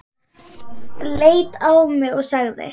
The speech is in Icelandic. Leit á mig og sagði